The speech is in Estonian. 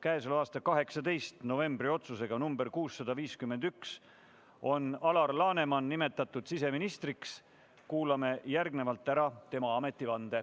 651 on Alar Laneman nimetatud siseministriks, kuulame järgnevalt ära tema ametivande.